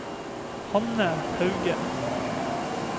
Hanne Hauge